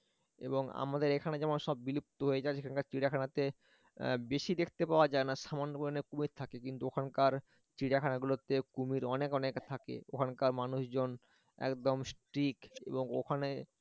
এবং আমাদের এখানে যেমন সব বিলুপ্ত হয়ে যায় ওখানে চিড়িয়াখানাতে বেশি দেখতে পাওয়া যায় না সামান্য মানে কুমির থাকে কিন্তু ওখানকার চিড়িয়াখানা গুলোতে কুমির অনেক অনেক থাকে ওখানকার মানুষজন একদম strict এবং ওখানে